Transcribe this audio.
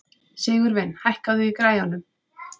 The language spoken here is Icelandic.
Sigurvin, hækkaðu í græjunum.